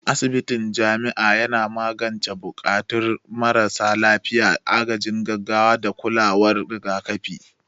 Asibitin jami'a yana magance buƙatun marasa lafiya, agajin gaggawa, da kulawar rigakafi.